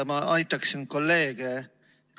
Ma aitaksin kolleege.